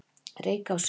Reykási